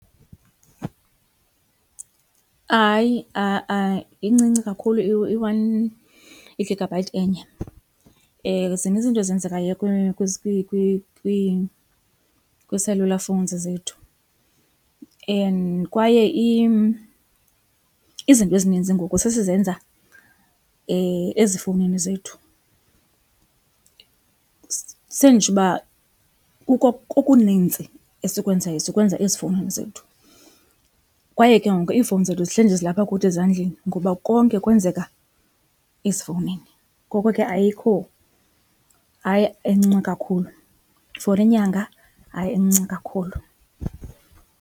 Hayi a-a, incinci kakhulu i-one, i-gigabyte enye. Zininzi izinto ezenzekayo kwii-celullar phones zethu and kwaye izinto ezininzi ngoku sesizenza ezifowunini zethu. Senditsho uba kuko okuninzi esikwenzayo sikwenza ezifowunini zethu. Kwaye ke ngoku iifowuni zethu zihleli nje zilapha kuthi ezandleni ngoba konke kwenzeka ezifowunini. Ngoko ke ayikho, hayi incinci kakhulu, for inyanga hayi incinci kakhulu.